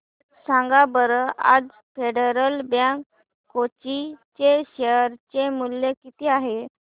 सांगा बरं आज फेडरल बँक कोची चे शेअर चे मूल्य किती आहे